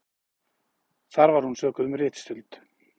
Þar var hún sökuð um ritstuld